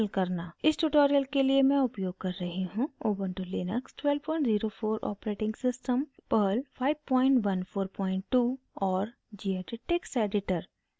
इस tutorial के लिए मैं उपयोग कर रही हूँ: